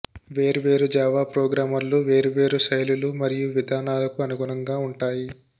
వేర్వేరు జావా ప్రోగ్రామర్లు వేర్వేరు శైలులు మరియు విధానాలకు అనుగుణంగా ఉంటాయి